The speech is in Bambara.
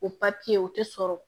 O o tɛ sɔrɔ